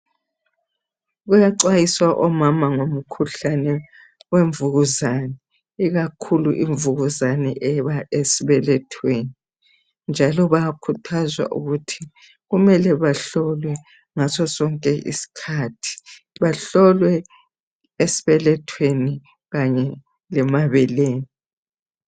Kuyaxwayiswa omama ngomkhuhlane wemvukuzane. Ikakhulu ivukuzane eba esibelethweni njalo bayakhuthazwa ukuthi kumele bahlole ngasosonke isikhathi. Bahlolwe esibelethweni kanye lasemabeleni.